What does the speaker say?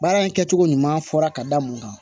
Baara in kɛcogo ɲuman fɔra ka da mun kan